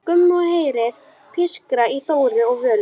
Gumma og heyrir pískrið í Þóru og Völu.